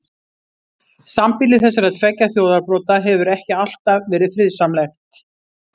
Sambýli þessara tveggja þjóðarbrota hefur ekki alltaf verið friðsamlegt.